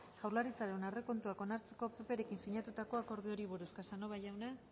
jaurlaritzaren aurrekontuak onartzeko pprekin sinatutako akordioari buruz casanova jauna